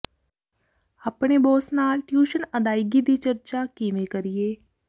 ਆਪਣੇ ਬੌਸ ਨਾਲ ਟਿਊਸ਼ਨ ਅਦਾਇਗੀ ਦੀ ਚਰਚਾ ਕਿਵੇਂ ਕਰੀਏ